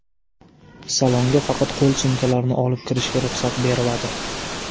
Salonga faqat qo‘l sumkalarini olib kirishga ruxsat beriladi.